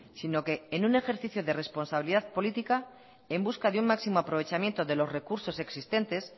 sino que en un ejercicio de responsabilidad política en busca de un máximo aprovechamiento de los recursos existentes